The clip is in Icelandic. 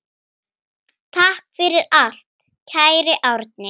Takk fyrir allt, kæri Árni.